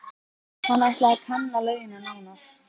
Hann ætlaði að kanna laugina nánar.